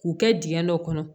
K'u kɛ dingɛ dɔ kɔnɔ